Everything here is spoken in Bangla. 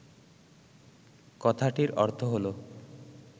কথাটির অর্থ হল